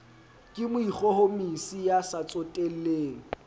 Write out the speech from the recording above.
ke moikgohomosi ya sa tsotelleng